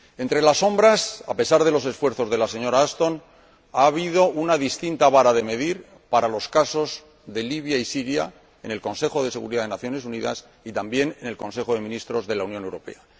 Entre las sombras, a pesar de los esfuerzos de la señora Ashton, está la distinta vara de medir para los casos de Libia y Siria en el Consejo de Seguridad de las Naciones Unidas y, también, en el Consejo de Ministros de la Unión Europea